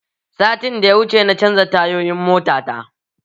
Satin da ya wuce na canza tayoyin mota ta